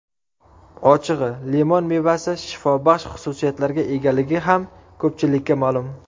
Ochig‘i, limon mevasi shifobaxsh xususiyatlarga egaligi ham ko‘pchilikka ma’lum.